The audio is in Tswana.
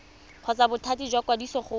kgotsa bothati jwa ikwadiso go